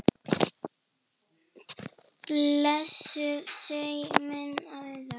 Blessuð sé minning Auðar.